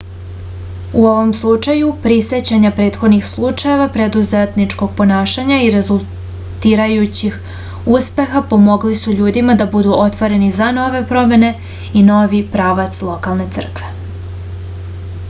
u ovom slučaju prisećanje prethodnih slučajeva preduzetničkog ponašanja i rezultirajućih uspeha pomogli su ljudima da budu otvoreni za nove promene i novi pravac lokalne crkve